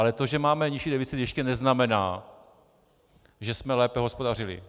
Ale to, že máme nižší deficit, ještě neznamená, že jsme lépe hospodařili.